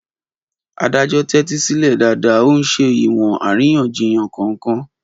Adájọ́ tẹ́tí sílẹ̀ dáadáa, ó ń ṣe ìwọ̀n àríyànjiyàn kọ̀ọ̀kan.